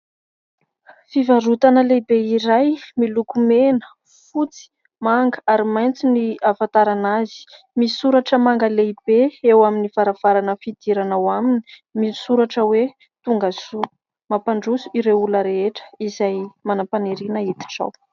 Fivarotana lehibe iray miloko mena, fotsy, manga ary maitso ny ahafantarana azy. Misy soratra manga lehibe eo amin'ny varavarana fidirana ho aminy misoratra hoe tonga soa, mampandroso ireo olona rehetra izay manam-paniriana hiditra ao.